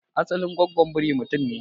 asalin gwagwon biri mutum ne?